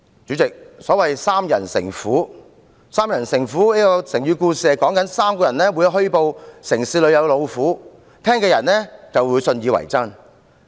主席，所謂"三人成虎"，意指3個人虛報城市出現老虎，聽到的人信以為真。